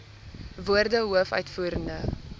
woorde hoof uitvoerende